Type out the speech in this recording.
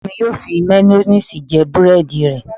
Ọmọ mi yóò fi máyóníìsì jẹ búrẹ́dì rẹ̀